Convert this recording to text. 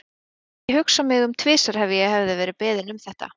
Ég hefði ekki hugsað mig um tvisvar ef ég hefði verið beðin um þetta.